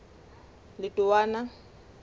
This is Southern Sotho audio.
letowana